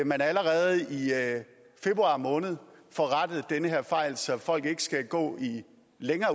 man allerede i februar måned får rettet den her fejl så folk ikke skal gå i